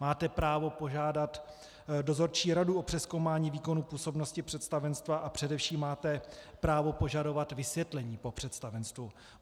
Máte právo požádat dozorčí radu o přezkoumání výkonu působnosti představenstva a především máte právo požadovat vysvětlení po představenstvu.